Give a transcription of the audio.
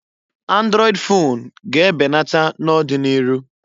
Andrọịd fon ga-e benata na'ọdị n'iru.